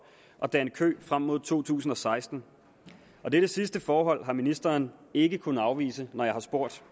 og danne kø frem mod to tusind og seksten og dette sidste forhold har ministeren ikke kunnet afvise når jeg har spurgt